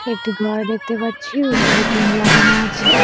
একটি ঘর দেখতে পাচ্ছি উপরে টিন লাগানো আছে।